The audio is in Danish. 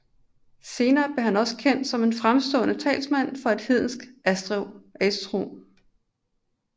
Senere blev han også kendt som en fremstående talsmand for hedensk asetro